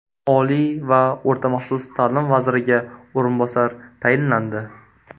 Oliy va o‘rta maxsus ta’lim vaziriga o‘rinbosar tayinlandi.